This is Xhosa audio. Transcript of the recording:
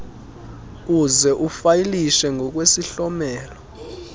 uze ufayilishe ngokwesihlomelo